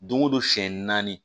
Don o don siɲɛ naani